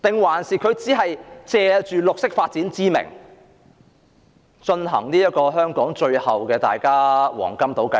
還是，政府只是借綠色發展之名，進行香港最後的黃金島計劃？